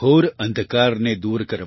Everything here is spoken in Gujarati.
ઘોર અંધકારને દૂર કરવા